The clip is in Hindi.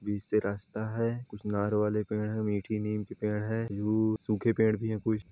बीच से रास्ता है कुछ नार वाले पेड़ है मीठी नीम की पेड़ है यू सूखे पेड़ भी है कुछ--